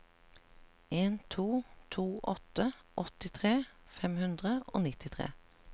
en to to åtte åttitre fem hundre og nittitre